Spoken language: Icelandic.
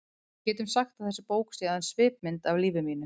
Við getum sagt að þessi bók sé aðeins svipmynd af lífi mínu.